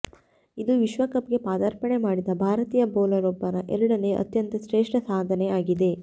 ಇದು ವಿಶ್ವಕಪ್ಗೆ ಪದಾರ್ಪಣೆ ಮಾಡಿದ ಭಾರತೀಯ ಬೌಲರ್ ಒಬ್ಬನ ಎರಡನೇ ಅತ್ಯಂತ ಶ್ರೇಷ್ಠ ಸಾಧನೆ ಆಗಿದೆ